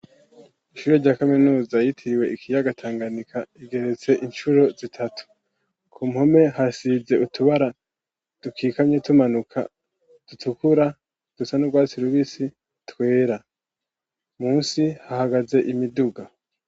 Ishure rya kaminuza yitiriwe ikiyaga Tanganyika igeretse incuro zitatu, ku mpome hasize utubara dukikamye tumanuka dutukura dusa n'urwatsi rubisi twera, musi hahagaze imiduga.